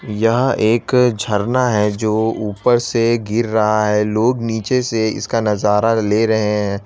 यह एक झरना हैं जो ऊपर से गिर रहा है लोग नीचे से इसका नजारा ले रहें हैं।